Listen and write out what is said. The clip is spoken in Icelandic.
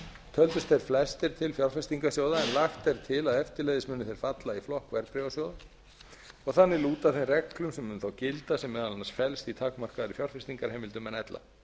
töldust þeir flestir til fjárfestingarsjóða en lagt er til að eftirleiðis muni þeir falla í flokk verðbréfasjóða og þannig lúta þeim reglum sem um þá gilda sem meðal annars felst í takmarkaðri fjárfestingarheimildum en ella